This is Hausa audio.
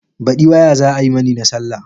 Baɗi waya za ai mani na sallah.